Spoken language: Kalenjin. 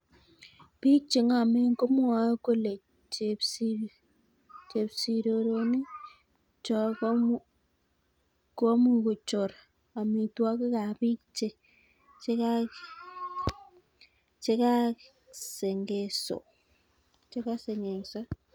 Biik che ng'omen komwoe kole chepsirironik cho kumuch kochor amitwokik ab biik chekasengengso.